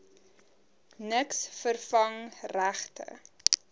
niks vervang regte